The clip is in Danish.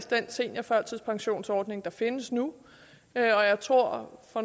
den seniorførtidspensionsordning der findes nu jeg tror så